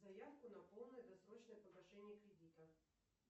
заявку на полное досрочное погашение кредита